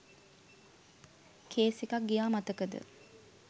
Case එකක් ගියා මතකද?